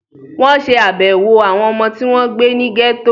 Wọ́n ṣé àbẹ̀wò àwọn ọmọ tí wọ́n gbé ní gẹ́tò